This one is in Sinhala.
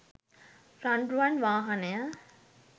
රන්රුවන් වාහනය